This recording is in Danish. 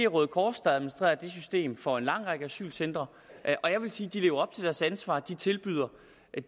røde kors der administrerer det system for en lang række asylcentre og jeg vil sige at de lever op deres ansvar de tilbyder